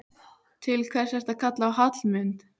Til hvers ertu að kalla á Hallmund?